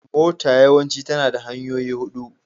Mota yawanci tana da tayoyi huɗu.